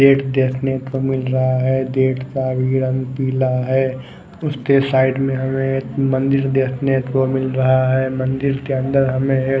date देखने को मिल रहा है डेट का रंग पीला है उसके साईड में हमे मंदिर देखने को मिल रहा है मंदिर के अंदर हमे एक --